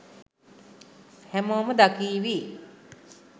හැමෝම දකීවි